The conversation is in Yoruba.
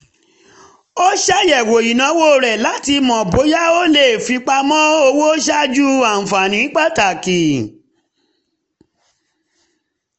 ó ṣàyẹ̀wò ìnáwó rẹ̀ láti mọ bóyá ó lè fipamọ́ owó ṣáájú ànfààní pàtàkì